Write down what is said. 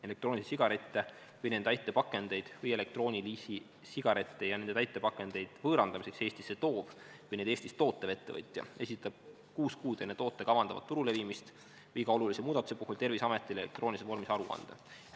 Elektroonilisi sigarette või nende täitepakendeid või elektroonilisi sigarette ja nende täitepakendeid võõrandamiseks Eestisse toov või neid Eestis tootev ettevõtja esitab kuus kuud enne toote kavandatavat turule viimist iga olulise muudatuse puhul Terviseametile elektroonilises vormis aruande.